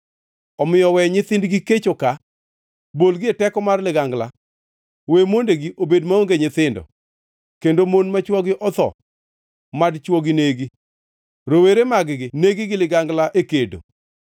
Omiyo we nyithindgi kech oka; bolgi e teko mar ligangla. We mondegi obed maonge nyithindo kendo mon ma chwogi otho; mad chwogi negi, rowere mag-gi negi gi ligangla e kedo.